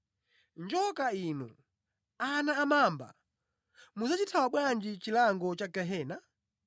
“Njoka inu! Ana amamba! Mudzachithawa bwanji chilango cha gehena?